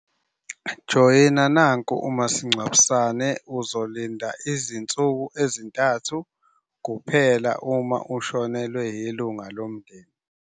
Joyina nanku umasingcwabisane uzolinda izinsuku ezintathu kuphela uma ushonelwe ilunga lomndeni.